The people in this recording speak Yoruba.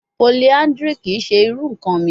Polyandry kii ṣe iru nkan mi